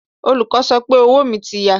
Ọlọ́kọ̀ sọ pé owó mi ti ya.